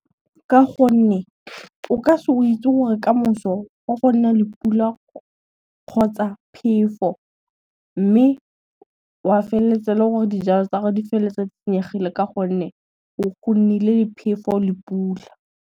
Ka gonne, o ka se o witse gore kamoso o fo nna le pula kgotsa phefo, mme wa felletsa e le gore dijalo tsa gore di felletsa di senyegile ka gonne go nnile phefo le pula.